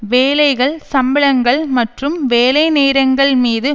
வேலைகள் சம்பளங்கள் மற்றும் வேலைநேரங்கள் மீது